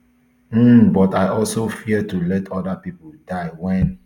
um but i also fear to let oda pipo die wen